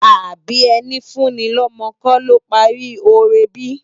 Àbi èni fú ni lòmò kò ló pári óré bi?